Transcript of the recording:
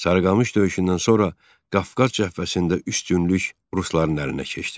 Sarıqamış döyüşündən sonra Qafqaz cəbhəsində üstünlük rusların əlinə keçdi.